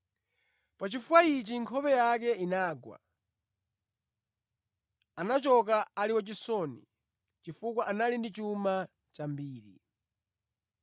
Pa chifukwa ichi nkhope yake inagwa. Anachoka ali wachisoni, chifukwa anali ndi chuma chambiri.